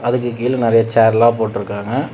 அதுக்கு கீழ நறைய சேர்லா போட்டுருக்காங்க.